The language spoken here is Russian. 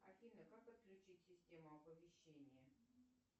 афина как отключить систему оповещения